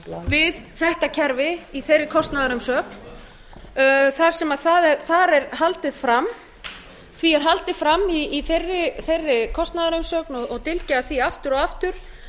við þetta kerfi í þeirri kostnaðarumsögn þar sem því er haldið fram í þeirri kostnaðarumsögn og dylgjað með það aftur og aftur